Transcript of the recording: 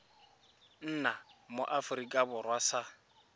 nna mo aforika borwa sa